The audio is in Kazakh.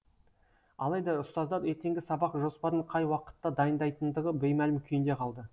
алайда ұстаздар ертеңгі сабақ жоспарын қай уақытта дайындайтындығы беймәлім күйінде қалды